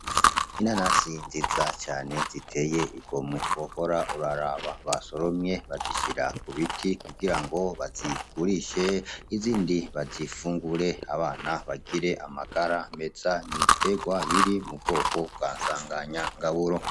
Inanasi nziza ziteye igomwe wohora uraraba basoromye bazishira kubiti kugira ngo bazigurishe izindi bazifungure abana bagire amagara meza, n'ibitegwa biri mu bwoko bwa nsanganyangaburo.